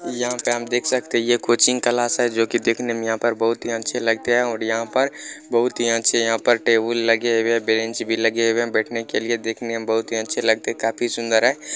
यह पे हम देख सकते है यह कोचिंग क्लास है जो की देखने में यह पर बहुत ही अच्छे लगते है और यह पर बहुत ही अच्छे है यह पर टेबुल लगे हुए है बेंच भी लगे हुए है बैठने के लिए देखने में बहुत ही अच्छे लगते है काफी सुन्दर है।